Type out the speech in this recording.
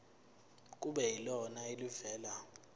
kube yilona elivela